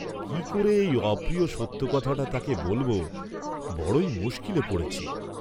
কি করে এই অপ্রিয় সত্য কথাটা তাকে বলব, বড়ই মুস্কিলে পড়েছি।